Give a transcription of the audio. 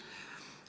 Kalvi Kõva, palun!